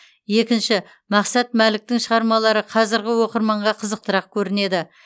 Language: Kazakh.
екінші мақсат мәліктің шығармалары қазіргі оқырманға қызықтырақ көрінеді